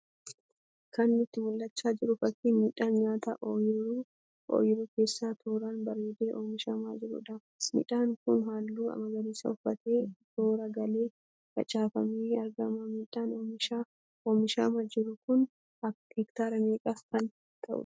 Kan nutti mul'achaa jiru fakkii midhaan nyaataa oyiruu keessa tooraan bareedee oomishamaa jiruudha. Midhaan kun halluu magariisa uffatee toora galee facaafamee argama. Midhaan oomishamaa jiru kun hektaara meeqa kan ta'uudha?